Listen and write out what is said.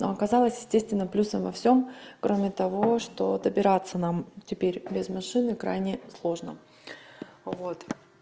но оказалось естественно плюсом во всём кроме того что добираться нам теперь без машины крайне сложно вот